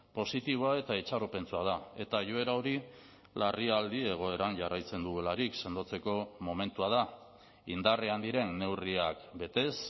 positiboa eta itxaropentsua da eta joera hori larrialdi egoeran jarraitzen dugularik sendotzeko momentua da indarrean diren neurriak betez